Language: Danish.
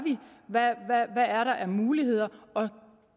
hvad der er af muligheder og